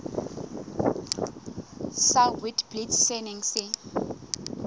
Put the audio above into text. sa witblits se neng se